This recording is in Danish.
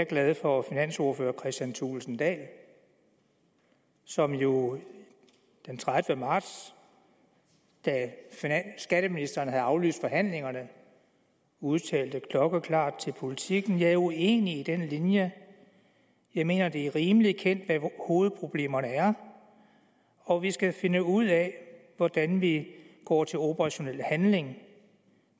glad for finansordfører kristian thulesen dahl som jo den tredivete marts da skatteministeren havde aflyst forhandlingerne udtalte klokkeklart til politiken jeg er uenig i den linje jeg mener det er rimeligt kendt hvad hovedproblemerne er og vi skal finde ud af hvordan vi går til operationel handling